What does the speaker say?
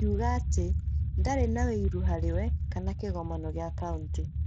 Akiuga atĩ ndarĩ na ũiru harĩ we kana kĩgomano gĩa kauntĩ.